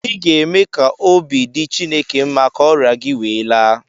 ị ga-eme ka obi dị Chineke mma ka ọrịa gị wee laa